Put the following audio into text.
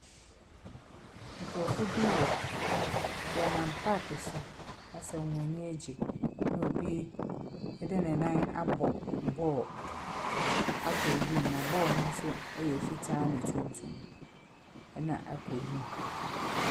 Nkrɔfo bi wɔ, wɔnam parke so asɛ wɔn aniagye ɛna obi ɛde ne nan abɔ bɔɔl akɔ wim na bɔɔl no nso yɛ fitaa na tuntum ɛna akɔ wim.